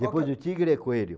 Depois do tigre é coelho.